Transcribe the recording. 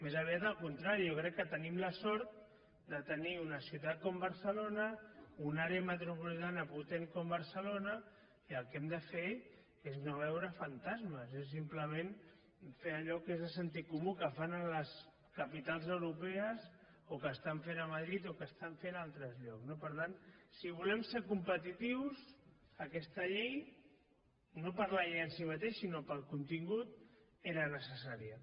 més aviat al contrari jo crec que tenim la sort de tenir una ciutat com barcelona una àrea metropolitana potent com barcelona i el que hem de fer és no veure fantasmes és simplement fer allò que és de sentit comú que fan a les capitals europees o que estan fent a madrid o que estan fent a altres llocs no per tant si volem ser competitius aquesta llei no per la llei en si mateixa sinó pel contingut era necessària